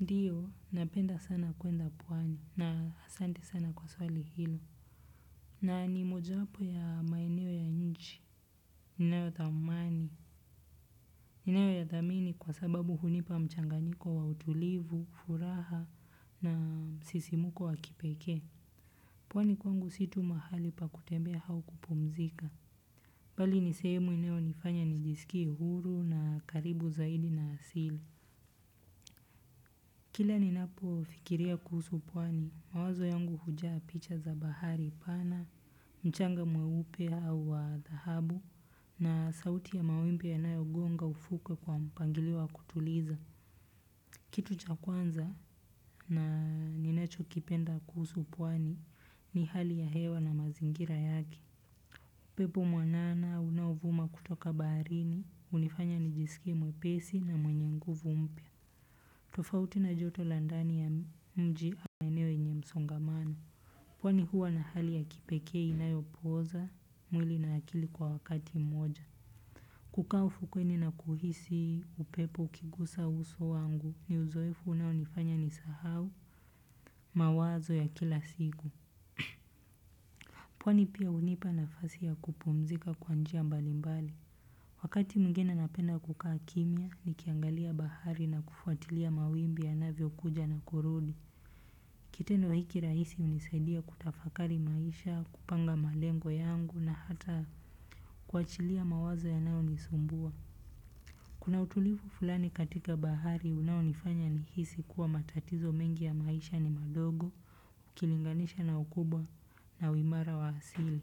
Ndio, napenda sana kwenda pwani, na asante sana kwa swali hilo. Na ni mojawapo ya maeneo ya nchi. Inayo thamani. Ninayo yathamini kwa sababu hunipa mchanganyiko wa utulivu, furaha na msisimuko wa kipekee. Pwani kwangu si tu mahali pa kutembea au kupumzika. Bali ni sehemu inayonifanya nijisikie huru na karibu zaidi na asili. Kila ninapofikiria kuhusu pwani, mawazo yangu huja picha za bahari pana, mchanga mweupe au wa dhahabu na sauti ya wawimbi yanayogonga ufukwe kwa mpangilio wa kutuliza. Kitu cha kwanza ninachokipenda kuhusu pwani ni hali ya hewa na mazingira yake. UPepo mwanana unaovuma kutoka baharini, hunifanya nijisikie mwepesi na mwenye nguvu mpya. Tofauti na joto la ndani ya mji au eneo yenye msongamano. Pwani huwa na hali ya kipekee inayopoza mwili na akili kwa wakati mmoja. Kukaa ufukweni na kuhisi upepo ukigusa uso wangu ni uzoefu unaonifanya nisahau mawazo ya kila siku. Pwani pia hunipa nafasi ya kupumzika kwa njia mbalimbali. Wakati mwingine napenda kukaa kimya nikiangalia bahari na kufuatilia mawimbi yanavyo kuja na kurudi. Kitendo hiki rahisi hunisaidia kutafakari maisha, kupanga malengo yangu na hata kuachilia mawazo yanayonisumbua. Kuna utulivu fulani katika bahari unaonifanya nihisi kuwa matatizo mengi ya maisha ni madogo, ukilinganisha na ukubwa na uimara wa asili.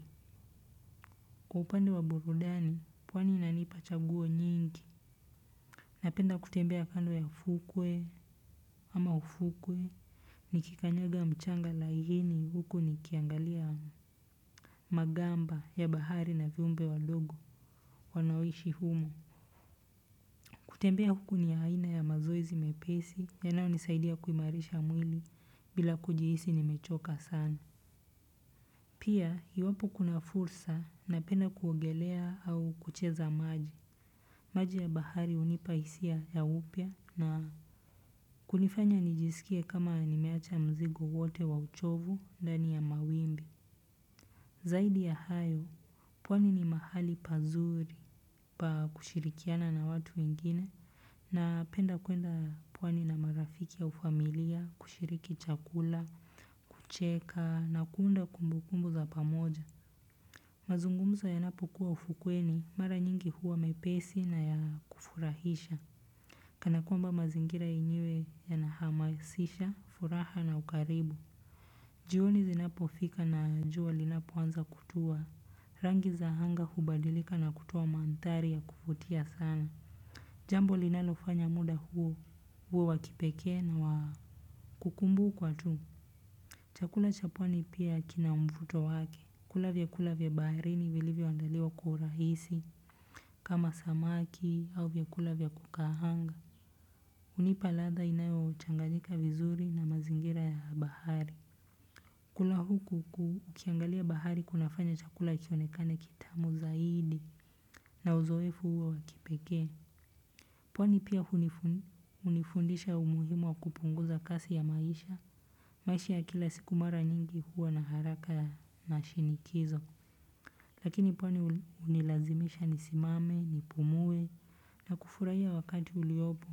Kwa upande wa burudani, pwani inanipa chaguo nyingi. Napenda kutembea kando ya ufukwe ama ufukwe nikikanyaga mchanga laini huku nikiangalia magamba ya bahari na viumbe wadogo waoishi humo. Kutembea huku ni aina ya mazoezi mepesi yanayonisaidia kuimarisha mwili bila kujihisi nimechoka sana. Pia, iwapo kuna fursa unapenda kuongelea au kucheza maji. Maji ya bahari hunipa hisia ya upya na hamu. Kunifanya nijisikie kama nimeacha mzigo wote wa uchovu, ndani ya mawimbi. Zaidi ya hayo, pwani ni mahali pazuri pa kushirikiana na watu wengine. Napenda kuenda pwani na marafiki au familia, kushiriki chakula, kucheka na kuunda kumbu kumbu za pamoja. Mazungumzo yanapokuwa ufukweni, mara nyingi huwa mepesi na ya kufurahisha. Kana kwamba mazingira yenyewe yanahamasisha, furaha na ukaribu. Jioni zinapofika na jua linapoanza kutua, rangi za anga hubadilika na kutoa mandhari ya kuvutia sana. Jambo linalofanya muda huu uwe wa kipekee na wa kukumbukwa tu. Chakula cha pwani pia kina mvuto wake. Kula vyakula vya bahirini vilivyoandaliwa kwa urahisi kama samaki au vyakula vya kukaanga. Hunipa ladha inayochangayika vizuri na mazingira ya bahari. Kula huku ukiangalia bahari kuna fanya chakula kionekane kitamu zaidi na uzoefu huwa wa kipekee. Pwani pia hunifundisha umuhimu wa kupunguza kasi ya maisha. Maisha ya kila siku mara nyingi huwa na haraka ya mashinikizo. Lakini pwani hunilazimisha nisimame, nipumue na kufurahia wakati uliopo.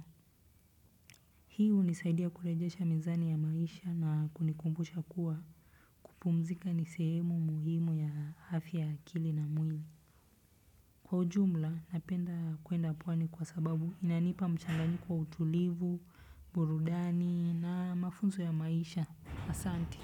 Hi hunisaidia kurejesha mizani ya maisha na kunikumbusha kuwa, kupumzika ni sehemu muhimu ya afya, akili na mwili. Kwa ujumla napenda kwenda pwani kwa sababu inanipa mchanganyiko wa utulivu, burudani na mafunzo ya maisha. Asante.